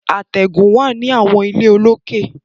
Àtẹ̀gùn wà ní àwọn ilé olókè.